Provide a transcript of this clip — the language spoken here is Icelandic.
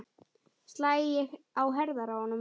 Slæ á herðar honum.